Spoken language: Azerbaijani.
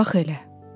bax elə.